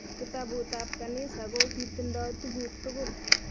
Kitabut ab kanisa ko kitindo tukuk tukul